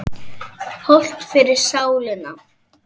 Hollt fyrir sálina.